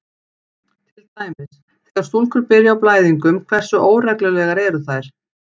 Til dæmis: Þegar stúlkur byrja á blæðingum, hversu óreglulegar eru þær?